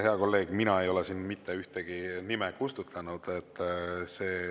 Hea kolleeg, mina ei ole siin mitte ühtegi nime kustutanud.